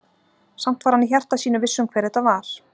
Samt var hann í hjarta sínu viss um hver þetta var.